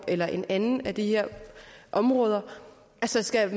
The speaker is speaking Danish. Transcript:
eller i et andet af de her områder skal